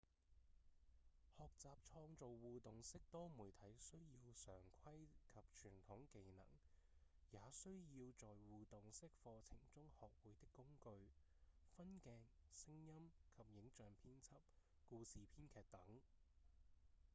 學習創造互動式多媒體需要常規及傳統技能也需要在互動式課程中學會的工具分鏡、聲音及影像編輯、故事編劇等